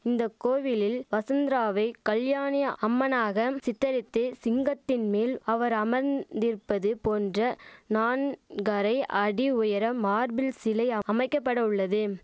இந்த கோவிலில் வசந்தராவை கல்யாணி அம்மனாகம் சித்தரித்து சிங்கத்தின் மேல் அவர் அமர்ந்திருப்பது போன்ற நான்காரை அடி உயர மார்பில் சிலை அமைக்கபட உள்ளது